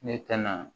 Ne tɛ na